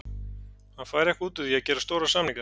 Hann fær eitthvað út úr því að gera stóra samninga.